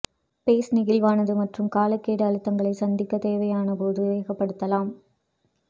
base நெகிழ்வானது மற்றும் காலக்கெடு அழுத்தங்களை சந்திக்க தேவையான போது வேகப்படுத்தலாம்